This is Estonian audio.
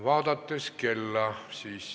Vaatan kella.